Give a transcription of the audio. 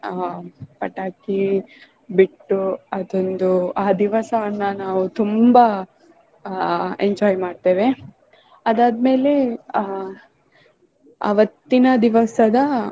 ಆಹ್ ಪಟಾಕಿ ಬಿಟ್ಟು ಅದೊಂದು ಆ ದಿವಸವನ್ನ ನಾವ್ ತುಂಬಾ ಆಹ್ enjoy ಮಾಡ್ತೇವೆ. ಅದಾದ್ಮೆಲೆ ಆಹ್ ಅವತ್ತಿನ ದಿವಸದ